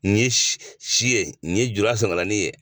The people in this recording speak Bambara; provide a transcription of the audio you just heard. Nin ye si ye nin ye jula sɔngalanin ye.